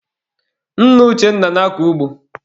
Nna Uchenna na-akọ ugbo.